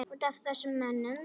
Út af þessum mönnum?